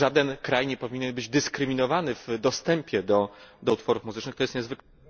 Żaden kraj nie powinien być dyskryminowany w dostępie do utworów muzycznych. To jest niezwykle